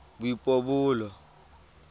boipobolo